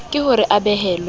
ke ho re a behellwe